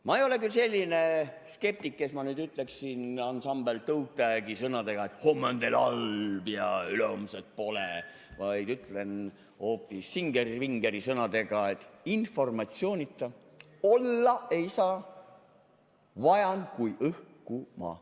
Ma ei ole küll selline skeptik, et ütleksin, ansambel Toe Tagi sõnadega, et homme on teil halb ja ülehomset pole, vaid ütlen hoopis Singer Vingeri sõnadega, et informatsioonita olla ei saa, vajan kui õhku ma.